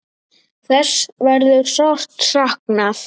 Þess verður sárt saknað.